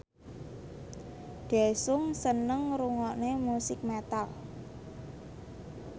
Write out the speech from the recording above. Daesung seneng ngrungokne musik metal